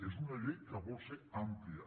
és una llei que vol ser àmplia